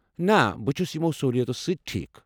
نہ۔ بہٕ چھُس یِمَو سٔہوٗلِیَتو سۭتۍ ٹھیٖکھ۔